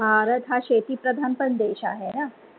भारत हा शेती प्रधांन पण देश आहे ना?